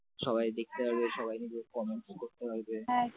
সবাই দেখতে পাবে সবাই মিলে comment করতে পারবে।